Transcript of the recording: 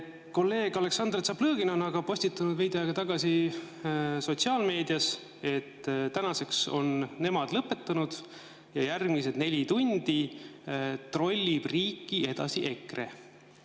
Kolleeg Aleksandr Tšaplõgin aga postitas veidi aega tagasi sotsiaalmeedias, et tänaseks on nemad lõpetanud ja järgmised neli tundi trollib riiki edasi EKRE.